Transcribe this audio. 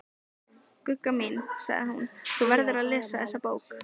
Gugga mín, sagði hún, þú verður að lesa þessa bók!